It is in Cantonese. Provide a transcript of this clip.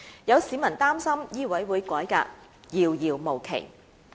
有市民擔心醫委會改革遙遙無期。